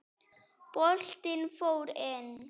Boltinn fór inn.